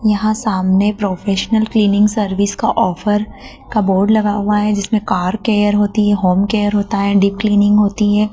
यहां सामने professional cleaning service का ऑफर का बोर्ड लगा हुआ है जिसमें कार केयर होती है होम केयर होता है डीप क्लीनिंग होती है।